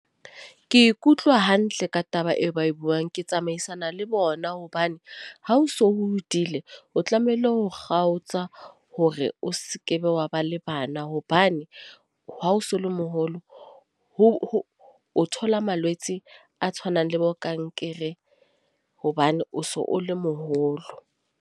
Ke ikutlwa hantle ka taba eo ba e buang. Ke tsamaisana le bona hobane ha o so hodile, o tlamehile ho kgaotsa hore o sekebe wa ba le bana. Hobane ha o so le moholo o thola malwetse a tshwanang le bokankere hobane o so o le moholo.